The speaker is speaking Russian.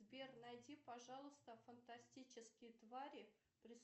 сбер найди пожалуйста фантастические твари